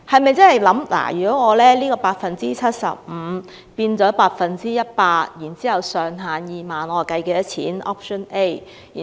為何要由 75% 增至 100%， 並將扣稅上限定為2萬元？